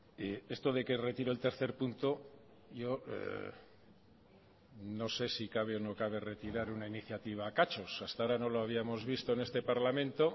y esto de que retiro el tercer punto yo no sé si cabe o no cabe retirar una iniciativa a cachos hasta ahora no lo habíamos visto en este parlamento